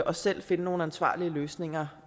og selv finde nogle ansvarlige løsninger